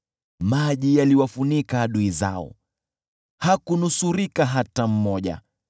Maji yaliwafunika adui zao, hakunusurika hata mmoja.